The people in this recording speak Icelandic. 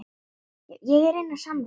Já, hún er ellefu, er eitthvað að því?